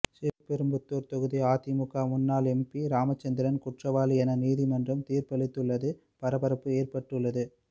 ஸ்ரீபெரும்புதூர் தொகுதி அதிமுக முன்னாள் எம்பி ராமசந்திரன் குற்றவாளி என நீதிமன்றம் தீர்ப்பளித்துள்ளது பரபரப்பு ஏற்பட்டுள்ளது